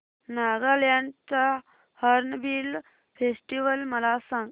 नागालँड चा hornbill festival मला सांग